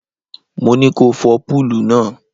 Mo ní ko fọ púùlù náà.